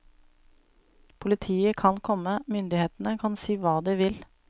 Politiet kan komme, myndighetene kan si hva de vil.